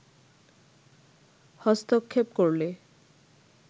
হস্তক্ষেপ করলে